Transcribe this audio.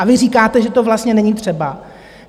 A vy říkáte, že to vlastně není třeba.